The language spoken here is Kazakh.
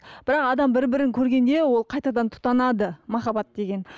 бірақ адам бір бірін көргенде ол қайтадан тұтанады екен махаббат деген